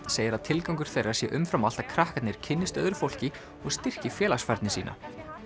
segir að tilgangur þeirra sé umfram allt að krakkarnir kynnist öðru fólki og styrki félagsfærni sína